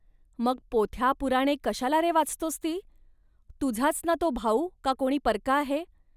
मग पोथ्यापुराणे कशाला, रे, वाचतोस ती. तुझाच ना तो भाऊ, का कोणी परका आहे